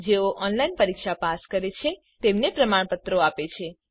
જેઓ ઓનલાઇન પરીક્ષા પાસ કરે છે તેમને પ્રમાણપત્ર આપે છે